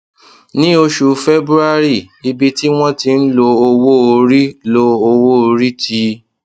ní oṣù february ibi tí wọn ti ń lo owó orí lo owó orí ti